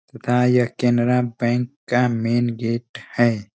तथा ये कनेरा बैंक का मैन गेट है।